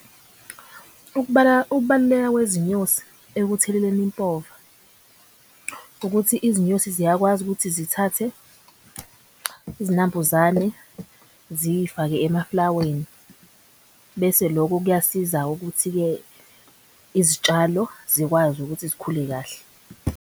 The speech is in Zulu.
Ukubaluleka kwezinyosi ekutheleleni impova ukuthi izinyosi ziyakwazi ukuthi zithathe izinambuzane ziy'fake emaflaweni. Bese loko kuyasiza ukuthi-ke izitshalo zikwazi ukuthi zikhule kahle.